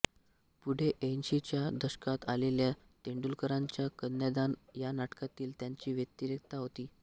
पुढे ऐंशीच्या दशकात आलेल्या तेंडुलकरांच्या कन्यादान या नाटकातील त्यांची व्यक्तिरेखा होती